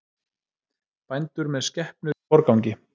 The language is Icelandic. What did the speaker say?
Bændur með skepnur í forgangi